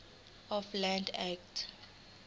of land act